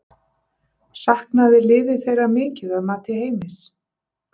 Saknaði liðið þeirra mikið að mati Heimis?